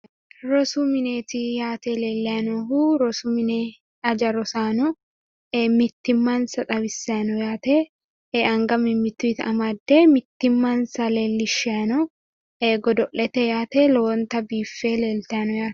Rosu mineeti yaate leellayi noohu rosu mine aja rosaano mittimmansa xawissayi no yaate anga mimmituuyita amadde mittimmansa leellishshayi no godo'lete yaate lowonta biiffe leeltayino yaate.